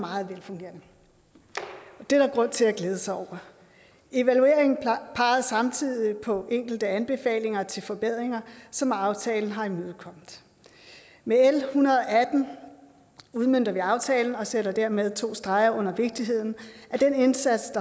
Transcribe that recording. meget velfungerende og det er der grund til at glæde sig over evalueringen pegede samtidig på enkelte anbefalinger til forbedringer som aftalen har imødekommet med l en hundrede og atten udmønter vi aftalen og sætter dermed to streger under vigtigheden af den indsats